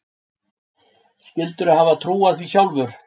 Skyldirðu hafa trúað því sjálf?